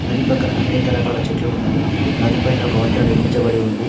నది పక్కన అనేక రకాల చెట్లు ఉన్నాయి. నదిపైన ఒక వంతెన నిర్మించబడి ఉంది.